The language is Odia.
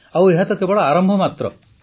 ଆଉ ଏହା ତ କେବଳ ଆରମ୍ଭ ମାତ୍ର